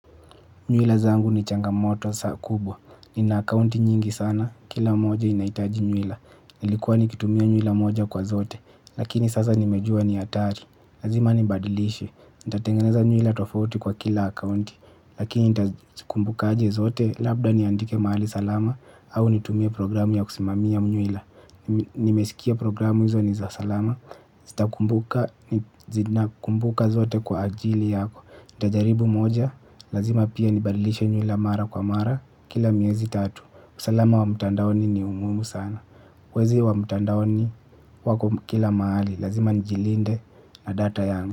Nywila zangu ni changamoto saa kubwa. Nina akaunti nyingi sana. Kila moja inahitaji nywila. Nilikuwa nikitumia nywila moja kwa zote. Lakini sasa nimejua ni hatari. Lazima nibadilishe. Nitatengeneza nywila tofauti kwa kila akaunti. Lakini nitazikumbukaje zote labda niandike mahali salama au nitumie programu ya kusimamia nywila. Nimesikia programu hizo ni za salama. Zinakumbuka zote kwa ajili ya nitajaribu moja, lazima pia nibadilishe nywila mara kwa mara kila miezi tatu. Usalama wa mtandaoni ni umuhimu sana. Wezi wa mtandaoni wako kila mahali, lazima njilinde na data yangu.